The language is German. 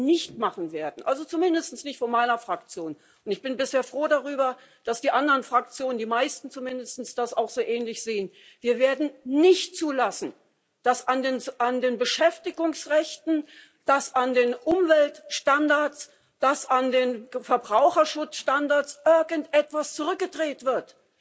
Aber was wir nicht machen werden also zumindest nicht von meiner Fraktion, und ich bin sehr froh darüber, dass die anderen Fraktionen, die meisten zumindest, das auch so ähnlich sehen Wir werden nicht zulassen, dass an den Beschäftigungsrechten, an den Umweltstandards, an den Verbraucherschutzstandards irgendetwas zurückgedreht wird.